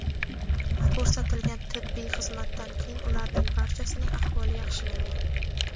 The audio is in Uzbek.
Ko‘rsatilgan tibbiy xizmatdan keyin ularning barchasining ahvoli yaxshilangan.